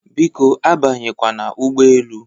Biko abanyekwana ụgbọelu!